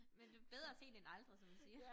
Men det bedre sent end aldrig som man siger